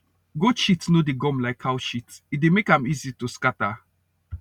goat shit no dey gum like cow shit e dey make am easy to scatter